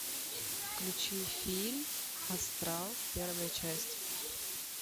включи фильм астрал первая часть